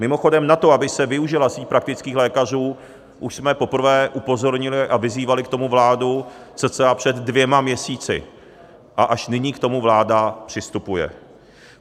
Mimochodem, na to, aby se využila síť praktických lékařů, už jsme poprvé upozornili a vyzývali k tomu vládu cca před dvěma měsíci a až nyní k tomu vláda přistupuje.